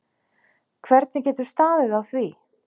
Hvernig getur staðið á því?